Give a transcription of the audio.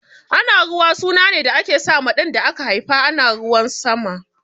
Anaruwa suna ne da ake sa ma ɗan da aka haifa ana ruwan sama